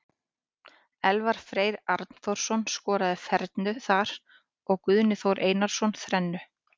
Elvar Freyr Arnþórsson skoraði fernu þar og Guðni Þór Einarsson þrennu.